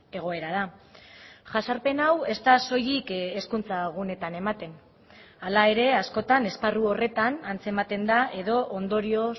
egoera da jazarpen hau ez da soilik hezkuntza gunetan ematen hala ere askotan esparru horretan antzematen da edo ondorio